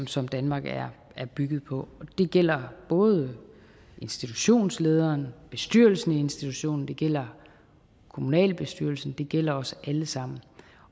som danmark er bygget på det gælder både institutionslederen og bestyrelsen i institutionen og det gælder kommunalbestyrelsen det gælder os alle sammen